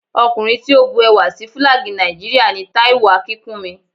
Ọkùnrin tí ó bu ẹwà sí Fílàgì Nàìjíríà ni Táíwò Akínkúnmi